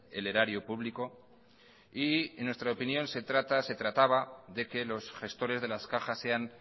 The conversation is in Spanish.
el erario público y en nuestra opinión se trata se trataba de que los gestores de las cajas sean